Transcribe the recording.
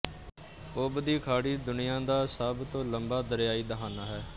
ਓਬ ਦੀ ਖਾੜੀ ਦੁਨੀਆ ਦਾ ਸਭ ਤੋਂ ਲੰਮਾ ਦਰਿਆਈ ਦਹਾਨਾ ਹੈ